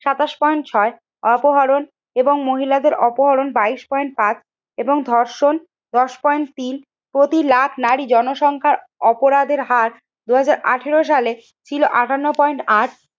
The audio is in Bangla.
সাতাশ পয়েন্ট ছয় অপহরণ এবং মহিলাদের অপহরণ বাইশ পয়েন্ট পাঁচ এবং ধর্ষণ দশ পয়েন্ট তিন প্রতি লাখ নারী জনসংখ্যার অপরাধের হার দুই হাজার আঠেরো সালে ছিল আঠান্ন পয়েন্ট আট।